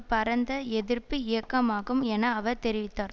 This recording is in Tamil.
பரந்த எதிர்ப்பு இயக்கமாகும் என அவர் தெரிவித்தார்